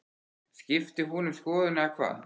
Skipti hún um skoðun eða hvað?